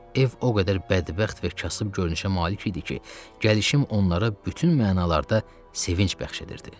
Ev o qədər bədbəxt və kasıb görünüşə malik idi ki, gəlişim onlara bütün mənalarda sevinc bəxş edirdi.